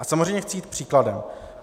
A samozřejmě chci jít příkladem.